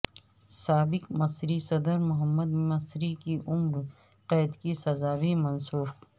سابق مصری صدر محمد مرسی کی عمر قید کی سزا بھی منسوخ